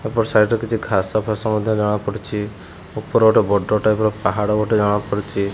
ଏପଟ ସାଇଡି ରେ କିଛି ଘାସ ଫାଶ ମଧ୍ୟ ଜଣାପଡୁଛି ଉପରେ ଗୋଟେ ବଡ଼ ଟାଇପ ର ପାହାଡ ଗୋଟେ ଜଣାପଡୁଛି।